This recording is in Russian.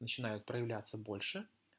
начинают проявляться больше